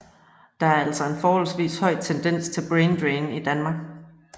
Der er altså en forholdvis høj tendens til brain drain i Danmark